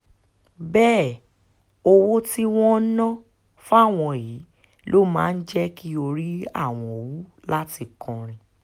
bẹ́ẹ̀ owó tí wọ́n ń ná fáwọn yìí ló máa ń jẹ́ kí orí àwọn wú láti kọrin